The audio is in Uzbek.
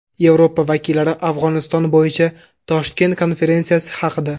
Yevropa vakillari Afg‘oniston bo‘yicha Toshkent konferensiyasi haqida.